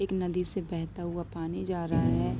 एक नदी से बेहता हुआ पानी जा रहा है।